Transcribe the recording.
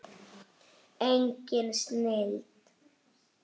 Engin snilld.